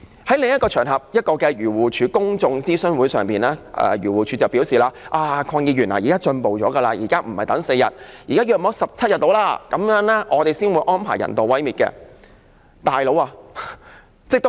在一個漁護署公眾諮詢會上，署方向我表示，現時已經有所進步，不是等4天，大約等17天，他們才會安排人道毀滅。